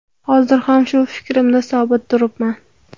Hozir ham shu fikrimda sobit turibman.